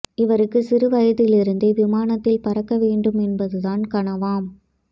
இவருக்கு சிறு வயதிலிருந்தே விமானத்தில் பறக்க வேண்டும் என்பதுதான் கனவாம்